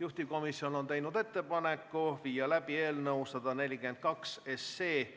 Juhtivkomisjon on teinud ettepaneku viia läbi eelnõu 142